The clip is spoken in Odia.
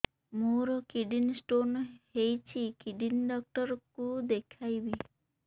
ମୋର କିଡନୀ ସ୍ଟୋନ୍ ହେଇଛି କିଡନୀ ଡକ୍ଟର କୁ ଦେଖାଇବି